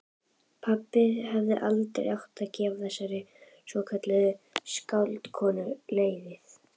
Pabbi hefði aldrei átt að gefa þessari svokölluðu skáldkonu leyfið.